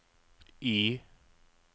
Y